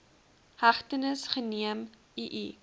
hegtenis geneem ii